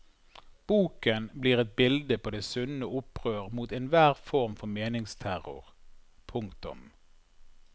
Boken blir et bilde på det sunne opprør mot enhver form for meningsterror. punktum